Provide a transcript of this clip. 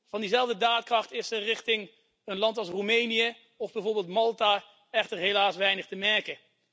Van diezelfde daadkracht is richting een land als Roemenië of bijvoorbeeld Malta echter helaas weinig te merken.